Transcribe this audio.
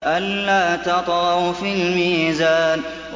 أَلَّا تَطْغَوْا فِي الْمِيزَانِ